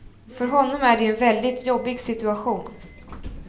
För honom är det ju en väldigt jobbig situation.